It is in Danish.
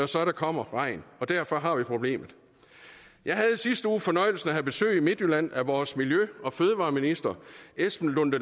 så kommer regn derfor har vi problemet jeg havde i sidste uge fornøjelsen af at have besøg i midtjylland vores miljø og fødevareminister